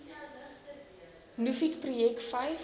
nuffic projek vyf